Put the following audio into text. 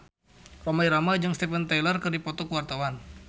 Rhoma Irama jeung Steven Tyler keur dipoto ku wartawan